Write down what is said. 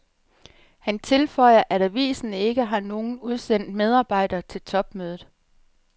Han tilføjer, at avisen ikke har nogen udsendt medarbejder til topmødet.